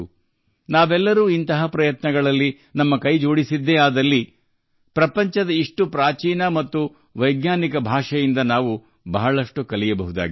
ನಾವೆಲ್ಲರೂ ಇಂತಹ ಪ್ರಯತ್ನಗಳಿಗೆ ಕೈಜೋಡಿಸಿದರೆ ಪ್ರಪಂಚದ ಇಂತಹ ಪ್ರಾಚೀನ ಮತ್ತು ವೈಜ್ಞಾನಿಕ ಭಾಷೆಯಿಂದ ನಾವು ಬಹಳಷ್ಟು ಕಲಿಯುತ್ತೇವೆ